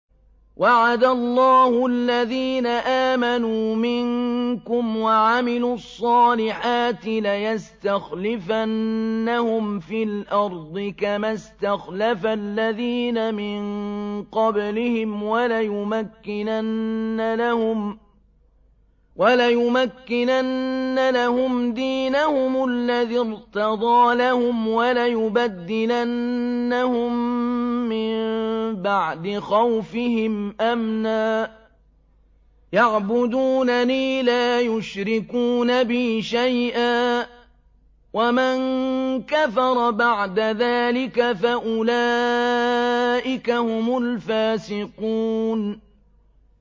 وَعَدَ اللَّهُ الَّذِينَ آمَنُوا مِنكُمْ وَعَمِلُوا الصَّالِحَاتِ لَيَسْتَخْلِفَنَّهُمْ فِي الْأَرْضِ كَمَا اسْتَخْلَفَ الَّذِينَ مِن قَبْلِهِمْ وَلَيُمَكِّنَنَّ لَهُمْ دِينَهُمُ الَّذِي ارْتَضَىٰ لَهُمْ وَلَيُبَدِّلَنَّهُم مِّن بَعْدِ خَوْفِهِمْ أَمْنًا ۚ يَعْبُدُونَنِي لَا يُشْرِكُونَ بِي شَيْئًا ۚ وَمَن كَفَرَ بَعْدَ ذَٰلِكَ فَأُولَٰئِكَ هُمُ الْفَاسِقُونَ